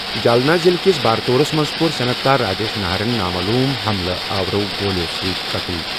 جالنہ ضِلعہٕ کِس بارتوٗرَس منٛز کوٚر صنعت کار راجیش ناہرَن نامعلوم حملہ آورَو گولیٚو سۭتۍ قتٕل۔